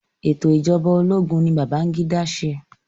Ètò ìṣẹ̀jọba ológun ni Babangida ṣe.